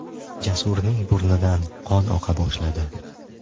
Jasurning burnidan qon oqa boshladi.